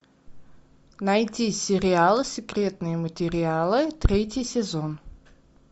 найти сериал секретные материалы третий сезон